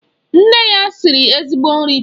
Nne ya siri ezigbo nri taa.